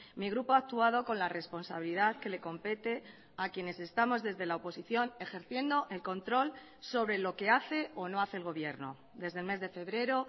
mi grupo ha actuado con la responsabilidad que le compete a quienes estamos desde la oposición ejerciendo el control sobre lo que haceo no hace el gobierno desde el mes de febrero